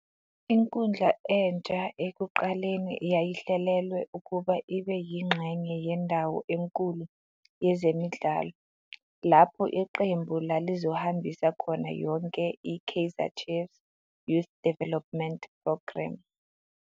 Inkundla entsha ekuqaleni yayihlelelwe ukuba ibe yingxenye yendawo enkulu yezemidlalo, lapho iqembu lalizohambisa khona yonke i-"Kaizer Chiefs Youth Development Programme".